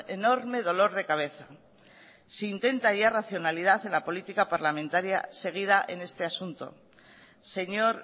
enorme dolor de cabeza si intenta ya racionalidad en la política parlamentaria seguida en este asunto señor